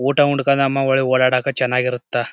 ಊಟ ಉಣ್ಕೊಂಡು ನಮ್ಮ ವಲಿಗಿ ಓಡಾಡಕ ಚನ್ನಾಗ್ ಇರುತ್ತ.